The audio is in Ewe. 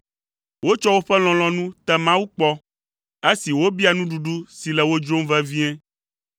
Wotsɔ woƒe lɔlɔ̃nu te Mawu kpɔ, esi wobia nuɖuɖu si le wo dzrom vevie.